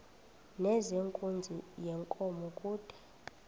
nezenkunzi yenkomo kude